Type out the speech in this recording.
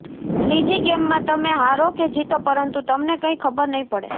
ત્રીજી ગેમમાં તમે હારો કે જીતો પરંતુ તમને કંઈ ખબર નહીં પડે